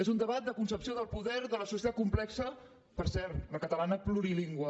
és un debat de concepció del poder de la societat complexa per cert la catalana plurilingüe